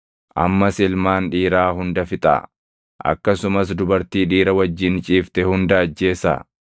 Ammas ilmaan dhiiraa hunda fixaa; akkasumas dubartii dhiira wajjin ciifte hunda ajjeesaa.